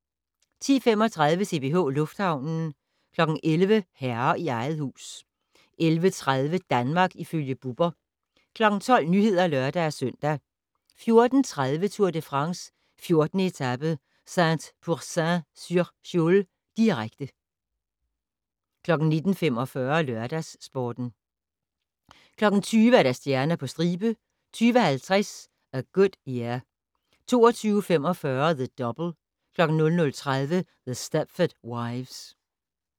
10:35: CPH Lufthavnen 11:00: Herre i eget hus 11:30: Danmark ifølge Bubber 12:00: Nyhederne (lør-søn) 14:30: Tour de France: 14. etape - Saint-Pourçain-sur-Sioule, direkte 19:45: LørdagsSporten 20:00: Stjerner på stribe 20:50: A Good Year 22:45: The Double 00:30: The Stepford Wives